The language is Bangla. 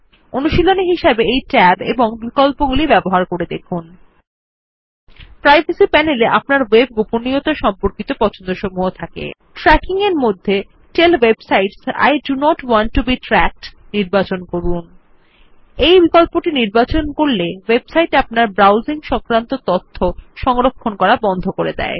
অনুশীলনী হিসেবে এই ট্যাব ও বিকল্পগুলি ব্যবহার করে দেখুন প্রাইভেসি প্যানেল এ আপনার ওয়েব গোপনীয়তার সম্পর্কিত পছন্দসমূহ থাকে ট্র্যাকিং এর মধ্যে tell web sites I do not want to be tracked নির্বাচন করুন এই বিকল্পটি নির্বাচন করলে ওয়েবসাইট আপনার ব্রাউজিং সংক্রান্ত তথ্য সংরক্ষণ করা বন্ধ করে দেয়